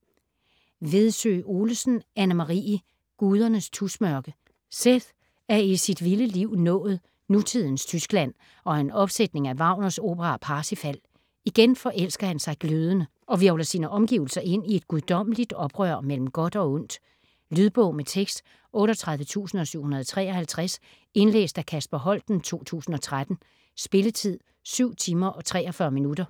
Vedsø Olesen, Anne-Marie: Gudernes tusmørke Seth er i sit vilde liv nået nutidens Tyskland og en opsætning af Wagners opera Parsifal. Igen forelsker han sig glødende, og hvirvler sine omgivelser ind i et guddommeligt oprør mellem godt og ondt. Lydbog med tekst 38753 Indlæst af Kasper Holten, 2013. Spilletid: 7 timer, 43 minutter.